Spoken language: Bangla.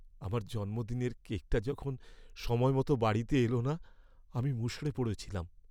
আমার জন্মদিনের কেকটা যখন সময় মতো বাড়িতে এলো না আমি মুষড়ে পড়েছিলাম।